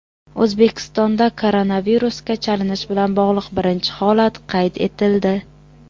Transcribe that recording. O‘zbekistonda koronavirusga chalinish bilan bog‘liq birinchi holat qayd etildi.